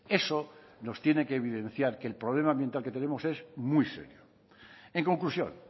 eso nos tiene que evidenciar que el problema medioambiental que tenemos es muy serio en conclusión